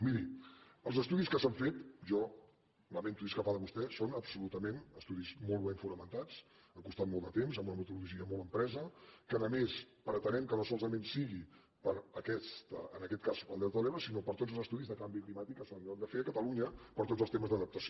miri els estudis que s’han fet jo lamento discrepar de vostè són absolutament estudis molt ben fonamentats han costat molt de temps amb una metodologia molt empresa que a més a més pretenem que no solament sigui en aquest cas per al delta de l’ebre sinó per a tots els estudis de canvi climàtic que s’hauran de fer a cata·lunya per tots els temes d’adaptació